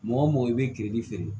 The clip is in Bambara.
Mɔgɔ mɔgɔ i bɛ kiri feere